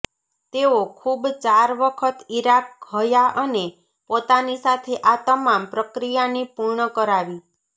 તેઓ ખૂબ ચાર વખત ઇરાક હયા અને પોતાની સાથે આ તમામ પ્રક્રિયાની પૂર્ણ કરાવી